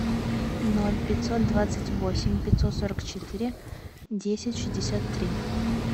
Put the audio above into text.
ноль пятьсот двадцать восемь пятьсот сорок четыре десять шестьдесят три